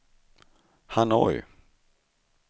Hanoi